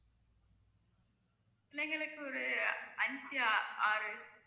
பிள்ளைங்களுக்கு ஒரு அஞ்சு ஆறு